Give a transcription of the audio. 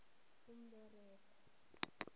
umberego